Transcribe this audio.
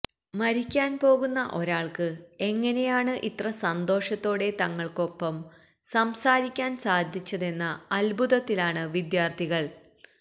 മരിക്കാൻ പോകുന്ന ഒരാൾക്ക് എങ്ങനെയാണ് ഇത്ര സന്തോഷത്തോടെ തങ്ങൾക്കൊപ്പം സംസാരിക്കാൻ സാധിച്ചതെന്ന അത്ഭുതത്തിലാണ് വിദ്യാർത്ഥികൾ